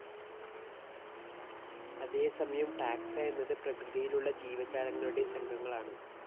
അതേസമയം ടാക്സ എന്നത് പ്രകൃതിയിലുള്ള ജീവജാലങ്ങളുടെ സംഘങ്ങളാണ്.